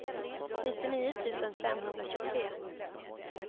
nittionio tusen femhundratjugotre